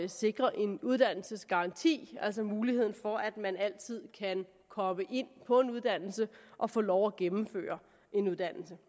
at sikre en uddannelsesgaranti altså muligheden for at man altid kan komme ind på en uddannelse og få lov at gennemføre en uddannelse